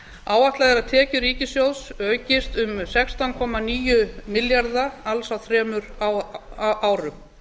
áætlað er að að tekjur ríkissjóðs aukist um sextán komma níu milljarða alls á þremur árum